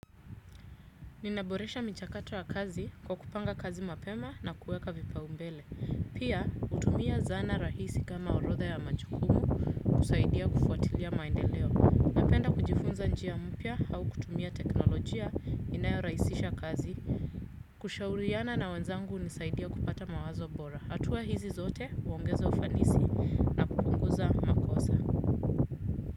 Ninaboresha michakatu wa kazi kwa kupanga kazi mapema na kueka vipaumbele. Pia hutumia zana rahisi kama orodha ya machukumu kusaidia kufuatilia maendeleo. Napenda kujifunza njia mpya au kutumia teknolojia inayorahisisha kazi. Kushauriana na wanzangu hunisaidia kupata mawazo bora. Hatua hizi zote huongezo ufanisi.